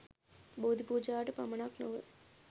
බෝධි පූජාවට පමණක් නොව